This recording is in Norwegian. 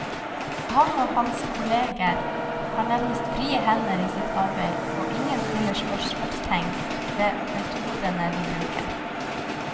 Han og hans kolleger har nærmest frie hender i sitt arbeid, og ingen stiller spørsmålstegn ved metodene de bruker.